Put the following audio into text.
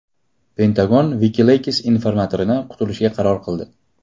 Pentagon Wikileaks informatoridan qutulishga qaror qildi.